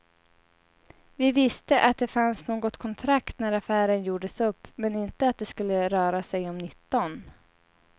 Vi visste att det fanns något kontrakt när affären gjordes upp, men inte att det skulle röra sig om nitton.